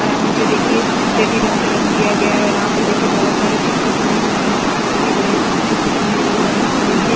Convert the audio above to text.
और हा नीचे देखिये स्लेटी रंग से रंग किया गया है और यहाँ पर देखिये बहुत सारे चित्र बने हुए हैऔर सामने देखिये गणेश जी की चित्र बनी हुयी है और यहाँ पर देखिये --